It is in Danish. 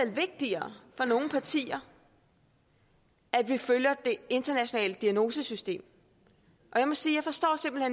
vigtigere for nogle partier at vi følger det internationale diagnosesystem og jeg må sige